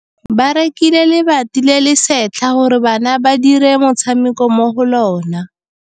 Ba rekile lebati le le setlha gore bana ba dire motshameko mo go lona.